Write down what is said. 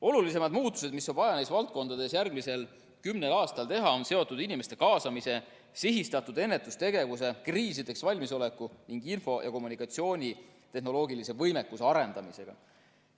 Olulisemad muudatused, mida on vaja neis valdkondades järgmisel kümnel aastal teha, on seotud inimeste kaasamise, sihistatud ennetustegevuse, kriisideks valmisoleku ning info‑ ja kommunikatsioonitehnoloogilise võimekuse arendamisega.